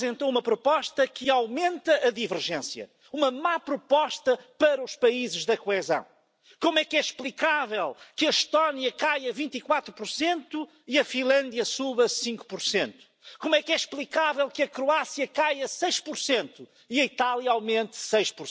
In the Danske Bank case alone, transactions worth more than the entire state budget of Denmark are now under suspicion of money laundering. So, President Juncker and Commission, we need not only